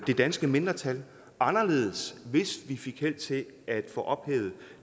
det danske mindretal anderledes hvis vi fik held til at få ophævet